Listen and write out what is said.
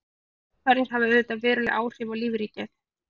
Slíkar hamfarir hafa auðvitað veruleg áhrif á lífríkið.